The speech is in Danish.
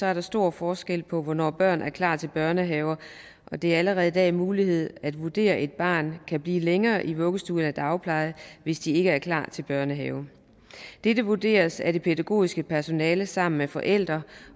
er der stor forskel på hvornår børn er klar til børnehave og det er allerede i dag en mulighed at vurdere at et barn kan blive længere i vuggestue eller dagpleje hvis de ikke er klar til børnehave dette vurderes af det pædagogiske personale sammen med forældrene og